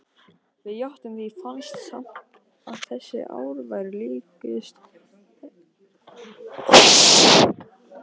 Við játtum því, fannst samt að þessi ár væru líkust eilífð.